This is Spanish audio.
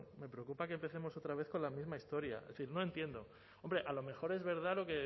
me preocupa que empecemos otra vez con la misma historia es decir no entiendo hombre a lo mejor es verdad